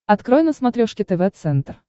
открой на смотрешке тв центр